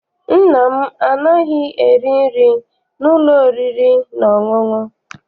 Nna m anaghị eri nri n'ụlọ oriri na ọṅụṅụ.